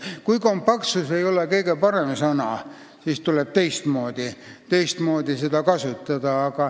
Kui "kompaktsus" ei ole kõige parem sõna, siis tuleb teistmoodi öelda.